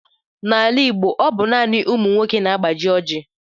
N'ala Igbo, ọ bụ naanị ụmụ nwoke na-agbaji Oji.